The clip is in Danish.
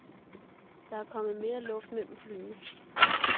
Der er kommet mere luft mellem flyene.